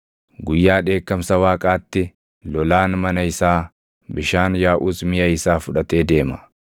Guyyaa dheekkamsa Waaqaatti lolaan mana isaa, bishaan yaaʼus miʼa isaa fudhatee deema.